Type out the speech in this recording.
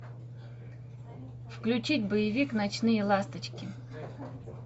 включить боевик ночные ласточки